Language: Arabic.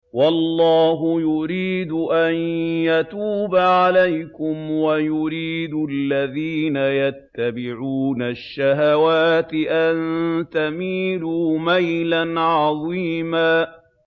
وَاللَّهُ يُرِيدُ أَن يَتُوبَ عَلَيْكُمْ وَيُرِيدُ الَّذِينَ يَتَّبِعُونَ الشَّهَوَاتِ أَن تَمِيلُوا مَيْلًا عَظِيمًا